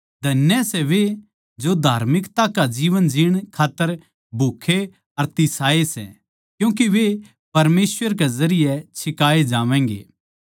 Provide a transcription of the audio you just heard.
धन्य सै वे जो धार्मिकता का जीवन जीण खात्तर भूखे अर तिसाए सै क्यूँके वे परमेसवर के जरिये छिकाए जावैंगे